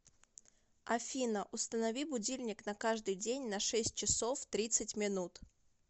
афина установи будильник на каждый день на шесть часов тридцать минут